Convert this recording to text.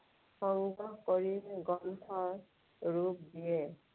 সংগ্ৰহ কৰি গ্ৰন্থৰ ৰূপ দিয়ে।